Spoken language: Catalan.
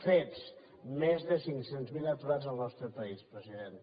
fets més de cinc cents miler aturats al nostre país president